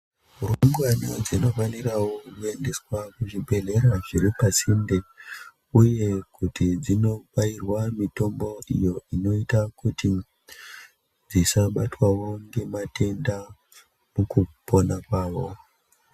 Rumbwana dzinofanirawo kuendeswa kuzvibhedhlera zviri pasinde uye kuti dzinobairwa mitombo iyo inoita kuti dzisabatwawo ngematenda mukupona kwawo.